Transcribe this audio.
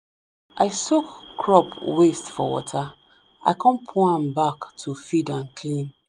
i soak crop waste for water i con pour am back to feed and clean.